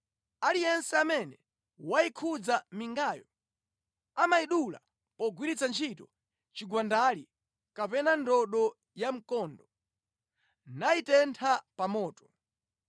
Aliyense amene wayikhudza mingayo amayidula pogwiritsa ntchito chigwandali kapena ndodo ya mkondo; nayitentha pa moto.”